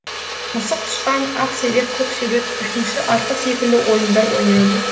мысық тышқан ақ серек көк серек үшінші артық секілді ойындар ойнайды